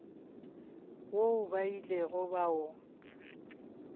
woo ba ilego ba o